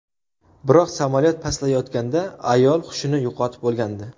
Biroq samolyot pastlayotganda ayol hushini yo‘qotib bo‘lgandi.